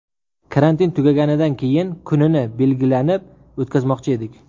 Karantin tugaganidan keyin kunini belgilanib, o‘tkazmoqchi edik.